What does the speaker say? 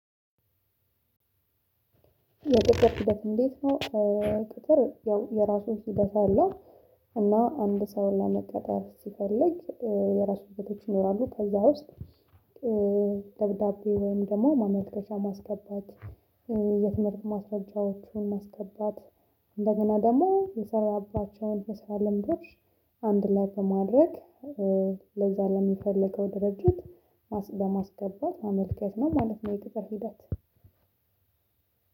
የቅጥር ሂደት እንዴት ነው? ቅጥር ያው የራሱን ሂደት አለው። እና አንድ ሰውን ለመቅጠር ሲፈልግ የራሱ እውቀቶች ይኖራሉ ከዛ ውስጥ። ደብዳቤ ወይም ደግሞ ማመልከቻ ማስገባት የትምህርት ማስረጃዎቹን ማስገባት እንደገና ደግሞ የሰራባቸውን የስራ ልምዶች አንድ ላይ በማድረግ ለዛ ለሚፈልገው ድርጅት ለማስገባት ማመልከት ነው ማለት ነው። የቅጥር ሂደት